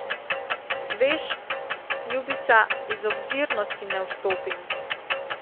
Veš, ljubica, iz obzirnosti ne vstopim.